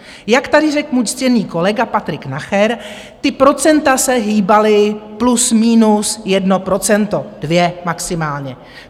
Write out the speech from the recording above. Jak tady řekl můj ctěný kolega Patrik Nacher, ta procenta se hýbala plus minus jedno procento, dvě maximálně.